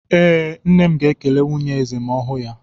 Ee, Nne m ga-ekele nwunye eze ma ọ hụ ya.